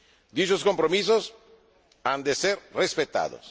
Dichos compromisos han de ser respetados.